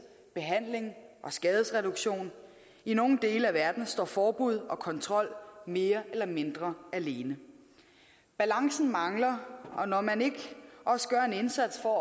behandling og skadesreduktion i nogle dele af verden står forbud og kontrol mere eller mindre alene balancen mangler når man ikke også gør en indsats for